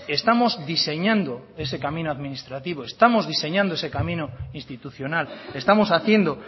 estamos diseñando ese camino administrativo estamos diseñando ese camino institucional estamos haciendo